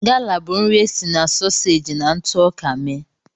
Gala bụ nri e si na soseji na ntụ ọka mee.